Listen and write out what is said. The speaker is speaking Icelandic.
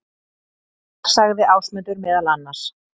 Þar sagði Ásmundur meðal annars: